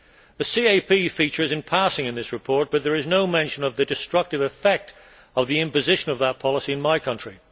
The CAP features in passing in this report, but there is no mention of the destructive effect of the imposition of that policy in my country.